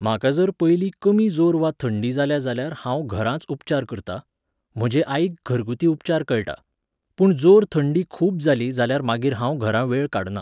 म्हाका जर पयलीं कमी जोर वा थंडी जाल्या जाल्यार हांव घरांच उपचार करतां. म्हजे आईक घरगुती उपचार कळटा. पूण जोर थंडी खूब जाली जाल्यार मागीर हांव घरां वेळ काडना.